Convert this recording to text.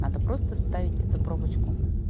надо просто вставить эту пробочку